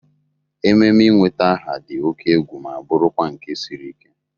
Ememe ị nweta aha dị oke egwu ma bụrụkwa nke siri ike.